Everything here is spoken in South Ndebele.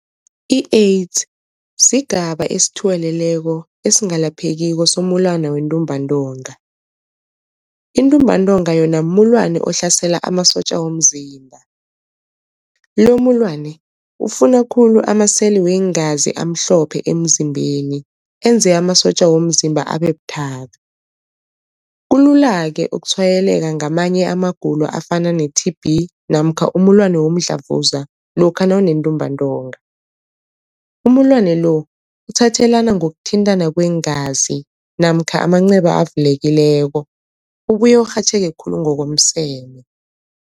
I-AIDS sigaba esithuweleleko esingalaphekiko somulwana wentumbantonga. Intumbantonga yona mulwana ohlasela amasotja womzimba lo mulwana ufuna khulu amaseli weengazi amhlophe emzimbeni enze amasotja womzimba abe buthaka. Kulula-ke ukutshwayeleka ngamanye amagulo afana ne-T_B namkha umulwane womdlavuza lokha nawunentumbantonga. Umulwane lo uthathelana ngokuthintana kweengazi namkha amanceba avulekileko ubuye urhatjheke khulu ngokomseme.